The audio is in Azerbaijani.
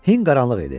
Hind qaranlıq idi.